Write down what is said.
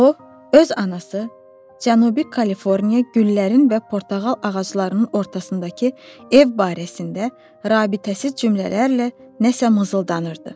O öz anası, Cənubi Kaliforniya, güllərin və portağal ağaclarının ortasındakı ev barəsində rabitəsiz cümlələrlə nəsə mızıldanırdı.